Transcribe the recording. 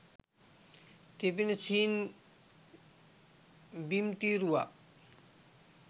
තිබෙන සිහින් බිම්තීරුවක්